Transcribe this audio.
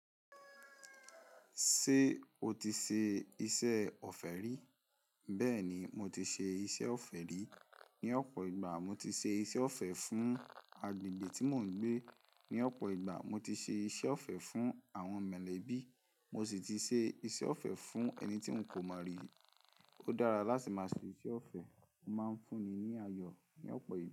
Ṣé o ti ṣe iṣẹ́ ọ̀fẹ́ rí? Bẹ́ẹ̀ni, mo ti ṣe iṣẹ́ ọ̀fẹ́ rí. Ni ọ̀pọ̀ ìgbà, mo ti ṣe iṣẹ́ ọ̀fẹ́ fún agbègbè tí mò ń gbé. Ni ọ̀pọ̀ ìgbà, mo ti ṣe iṣẹ́ ọ̀fẹ́ fún àwọn mọ̀lẹ́bí, mo sì ti ṣe iṣẹ́ ọ̀fẹ́ fún ẹni tí ń kò mọ̀ rí. Ó dára láti máa ṣe iṣẹ́ ọ̀fẹ́, ó máa ń fúnni ní ayọ̀ ní ọ̀pọ̀ ìgbà.